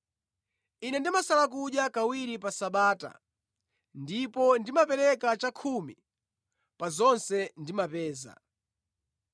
Ine ndimasala kudya kawiri pa Sabata ndipo ndimapereka chakhumi pa zonse ndimapeza.’